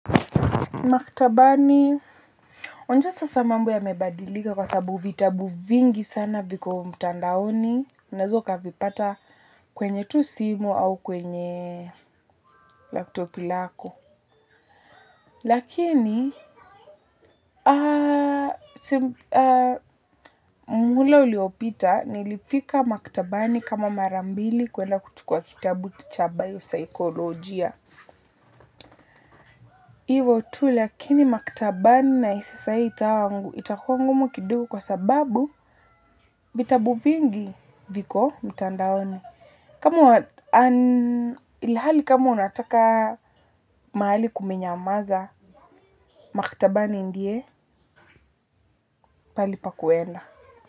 Maktabani, wajua sasa mambo yamebadilika kwa sababu vitabu vingi sana viko mtandaoni, unaweza ukavipata kwenye tu simu au kwenye laptop lako. Lakini, muhula uliopita nilifika maktabani kama mara mbili kwenda kuchukua kitabu cha bayo saikolojia. Ivo tu lakini maktabani nahisi sahii itawa itakuwa ngumu kidogo kwa sababu vitabu vingi viko mtandaoni. Kama ilhali kama unataka mahali kumenyamaza, maktabani ndiye pahali pa kuenda.